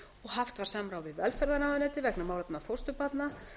haft var samráð við velferðarráðuneytið vegna málefna fósturbarna